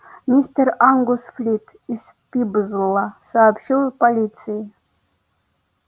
мистер ангус флит из пиблза сообщил полиции